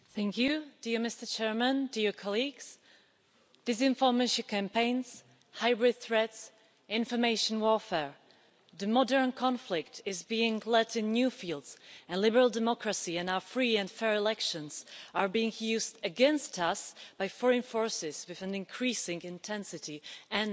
Mr President, disinformation campaigns, hybrid threats, information warfare the modern conflict is being led in new fields, and liberal democracy and our free and fair elections are being used against us by foreign forces with an increasing intensity and efficiency.